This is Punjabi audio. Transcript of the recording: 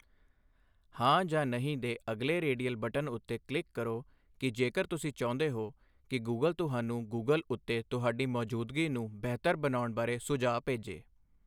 ਹਾਂ ਜਾਂ ਨਹੀਂ ਦੇ ਅਗਲੇ ਰੇਡੀਅਲ ਬਟਨ ਉੱਤੇ ਕਲਿੱਕ ਕਰੋ ਕਿ ਜੇਕਰ ਤੁਸੀਂ ਚਾਹੁੰਦੇ ਹੋ ਕਿ ਗੂਗਲ ਤੁਹਾਨੂੰ ਗੂਗਲ ਉੱਤੇ ਤੁਹਾਡੀ ਮੌਜੂਦਗੀ ਨੂੰ ਬਿਹਤਰ ਬਣਾਉਣਾ ਬਾਰੇ ਸੁਝਾਅ ਭੇਜੇ।